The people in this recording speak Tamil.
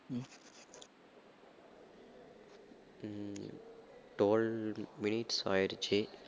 உம் twelve minutes ஆயிடுச்சு